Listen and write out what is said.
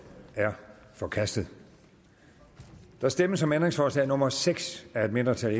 er forkastet der stemmes om ændringsforslag nummer seks af et mindretal